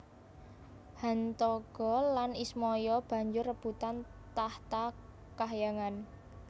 Hantaga lan Ismaya banjur rebutan tahta kahyangan